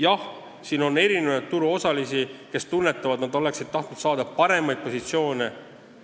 Jah, on turuosalisi, kes tunnetavad, et nad oleksid tahtnud saada paremaid positsioone.